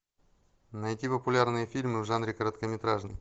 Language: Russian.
найти популярные фильмы в жанре короткометражный